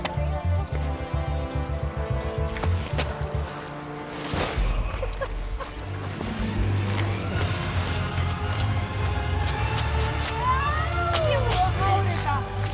við